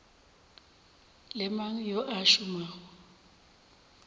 le mang yo a šomago